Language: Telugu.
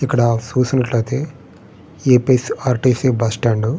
ఇక్కడ చూసినట్టు అయితే ఏ.పి.ఎస్.ఆర్.టి.సి బస్ స్టాండ్ --